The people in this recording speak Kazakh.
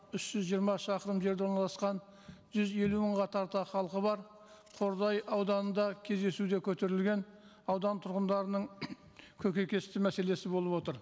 үш жүз жиырма шақырым жерде орналасқан жүз елу мыңға тарта халқы бар қордай ауданында кездесуде көтерілген аудан тұрғындарының көкейкесті мәселесі болып отыр